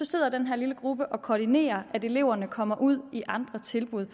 sidder den her lille gruppe og koordinerer at eleverne kommer ud i andre tilbud